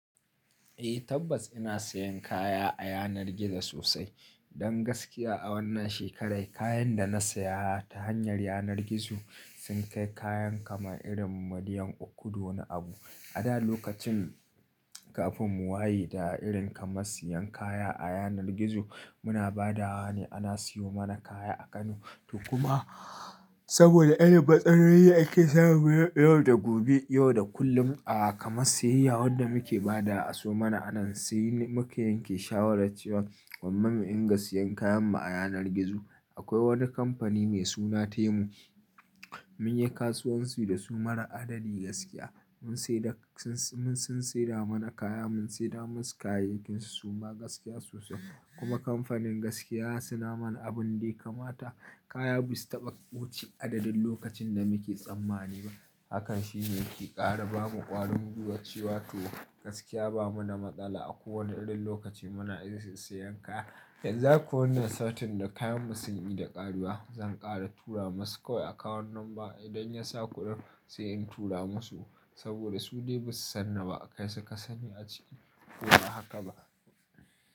Eh tabbas ina sayan kaya a yanar gizo sosai. Don gaskiya a wannan shekarai kayan da na saya ta hanyar yanar gizo sun kai kayan kamar irin miliyan uku da wani abu. A da lokacin kafin mu waye da irin kaman siyan kaya a yanar gizo, muna ba da wa ne ana siyo mana kaya a Kano. To kuma, saboda irin matsalolin da ake samu yau da gobe, yau da kullum a kamar siyayya wanda muke ba da a sawo mana anan sai muka yanke shawarar cewa gwamma mu inga siyan kayan mu a yanar gizo. Akwai wani kamfani mai suna Temu, mun yi kasuwanci da su mara adadi gaskiya. Mun sai da, sun, mun sun saida mana kaya mun saida masu kayayyakin su suma gaskiya sosai. Kuma kamfanin gaskiya suna mana abun daya kamata. Kaya ba su taɓa wuce adadin lokacin da muke tsammani ba. Hakan shine yake kara bamu ƙwarin gwiwa cewa to gaskiya ba muda matsala a ko wane irin lokaci muna iya saisaiyan kaya. Yanzu haka wannan satin da kayan mu sun i da ƙarewa zan ƙara tura masu kawai account number, idan ya sa kuɗin sai in tura masu. Saboda su dai ba su san ni ba kai suka sani a cikin ko a haka ba.